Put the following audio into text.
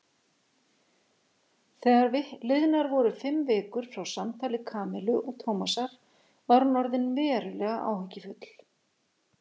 Þegar liðnar voru fimm vikur frá samtali Kamillu og Tómasar var hún orðin verulega áhyggjufull.